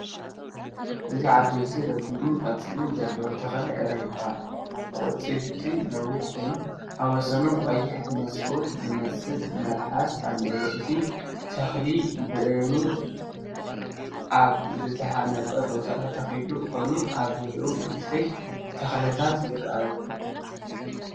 እዚ ዓበይትን ረጒድን ቆጽሊ ዘለዎ ተኽሊ ዕረ ይባሃል። ኣቝጽልቱ ነዊሕ ኮይኑ፡ ኣብ ወሰንኡ ቀይሕ መስኮት ዝመስል መልሓስ ኣለዎ። እቲ ተኽሊ ብእምኒ ኣብ ዝተሃንጸ ቦታ ዝተተኽለ ኮይኑ፡ ኣብ ዙርያኡ ንኣሽቱ ተኽልታት ይረኣዩ።